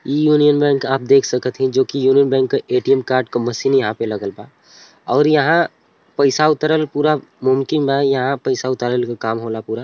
इ Union Bank आप देख सकत हई जो कि यूनियन बैंक का ए_टी_एम कार्ड का मशीन यहाँ पे लागल बा और यहाँ पईसा उतरल पूरा मुमकिन बा यहाँ पैसा उतारल के काम होला पूरा।